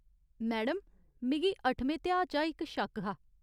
Madam, मिगी अट्ठमें ध्याऽ चा इक शक्क हा।